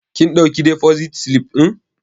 Kin ɗauki defosit silif ɗin?